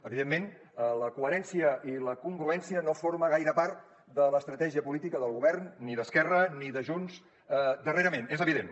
evidentment la coherència i la congruència no formen gaire part de l’estratègia política del govern ni d’esquerra ni de junts darrerament és evident